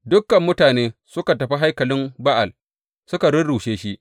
Dukan mutane suka tafi haikalin Ba’al suka rurrushe shi.